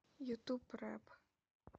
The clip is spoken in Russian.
ютуб рэпп